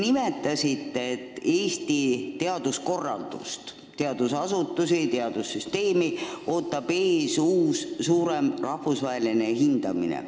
Te ütlesite, et Eesti teaduskorraldust, teadusasutusi ja teadussüsteemi ootab ees uus suurem rahvusvaheline hindamine.